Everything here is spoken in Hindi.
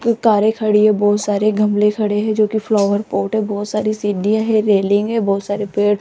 कारे खड़ी है बहुत सारे गमले खड़े हैं जोकि फ्लावर पॉट है बहोत सारी सीढ़ियां है रेलिंग है बहोत सारे पेड़ --